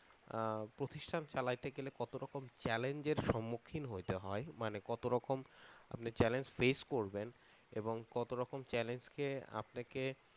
প্রতিষ্ঠান চালাইতে গেলে কত রকম challenge এর সম্মুখীন হইতে হয় মানে কত রকম আপনি challenge ফেস করবেন এবং কত রকম challenge কে আপনাকে